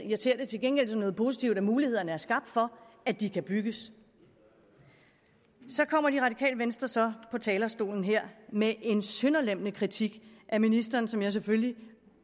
jeg ser det til gengæld som noget positivt at mulighederne er skabt for at de kan bygges så kommer det radikale venstre så på talerstolen her med en sønderlemmende kritik af ministeren som jeg selvfølgelig